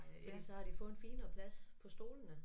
Fordi så har de fået en finere plads på stolene